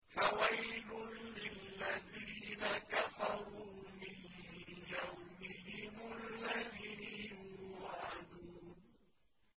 فَوَيْلٌ لِّلَّذِينَ كَفَرُوا مِن يَوْمِهِمُ الَّذِي يُوعَدُونَ